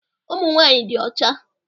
Ụmụ nwanyị dị ọcha.